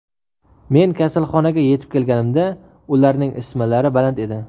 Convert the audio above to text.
Men kasalxonaga yetib kelganimda ularning isitmalari baland edi.